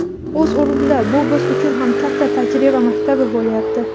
O‘z o‘rnida bu biz uchun ham katta tajriba maktabi bo‘lyapti.